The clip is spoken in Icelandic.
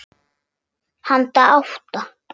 Handa átta